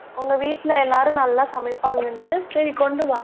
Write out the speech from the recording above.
உங்க வீட்ல எல்லாரும் நல்லா சமைப்பாங்கன்னு. சரி, கொண்டு வா